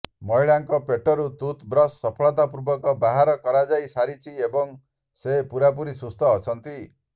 ମହିଳାଙ୍କ ପେଟରୁ ଟୁଥବ୍ରଶ୍ ସଫଳତାପୂର୍ବକ ବାହାର କରାଯାଇ ସାରିଛି ଏବଂ ସେ ପୂରାପୂରି ସୁସ୍ଥ ଅଛନ୍ତି